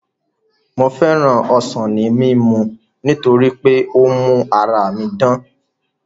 Mo féràn ọsàn ní mímu torí pé ó ń mú ara mi dán